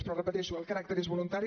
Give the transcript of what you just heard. però ho repeteixo el caràcter és voluntari